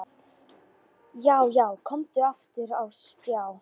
Já, já, komin aftur á stjá!